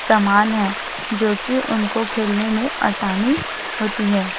समान है जो कि उनको खेलने में आसानी होती है।